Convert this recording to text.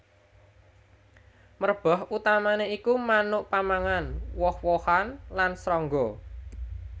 Merbah utamané iku manuk pamangan woh wohan lan srangga